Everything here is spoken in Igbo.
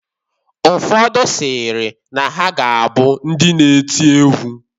Ụfodụ sịrị na ha ga-abụ ndị na-eti egwu.